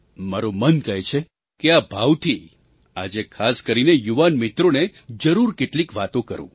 મારું મન કહે છે કે આ ભાવથી આજે ખાસ કરીને યુવાન મિત્રોને જરૂર કેટલીક વાતો કરું